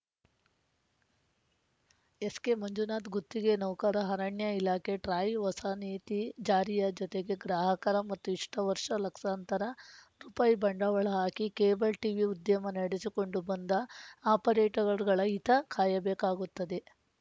ಎಸ್‌ಕೆಮಂಜುನಾಥ್‌ ಗುತ್ತಿಗೆ ನೌಕರ ಅರಣ್ಯ ಇಲಾಖೆ ಟ್ರಾಯ್‌ ಹೊಸ ನೀತಿ ಜಾರಿಯ ಜೊತೆಗೆ ಗ್ರಾಹಕರ ಮತ್ತು ಇಷ್ಟುವರ್ಷ ಲಕ್ಸಾಂತರ ರುಪಾಯಿ ಬಂಡವಾಳ ಹಾಕಿ ಕೇಬಲ್‌ ಟೀವಿ ಉದ್ಯಮ ನಡೆಸಿಕೊಂಡು ಬಂದ ಆಪರೇಟರ್‌ಗಳ ಹಿತ ಕಾಯಬೇಕಾಗುತ್ತದೆ